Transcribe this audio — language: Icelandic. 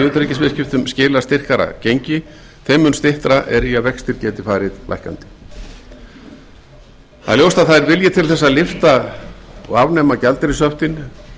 utanríkisviðskiptum skilar styrkara gengi þeim mun styttra er í að vextir geti farið lækkandi það er ljóst að það er vilji til að lyfta og afnema gjaldeyrishöftin